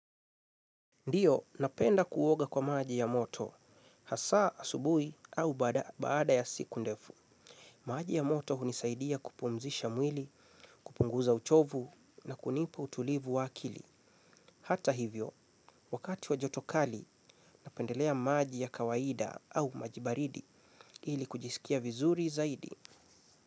Ndiyo, napenda kuoga kwa maji ya moto, hasaa, asubuhi, au baada, baada ya siku ndefu. Maji ya moto hunisaidia kupumzisha mwili, kupunguza uchovu, na kunipa utulivu wa akili. Hata hivyo, wakati wa joto kali, napendelea maji ya kawaida au maji baridi, ili kujisikia vizuri zaidi.